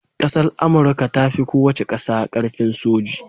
ƙasar amurka tafi kowace ƙasa karfin soji